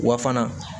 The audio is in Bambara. Wa fana